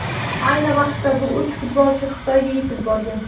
Ayni vaqtda bu uch futbolchi Xitoyga yetib borgan .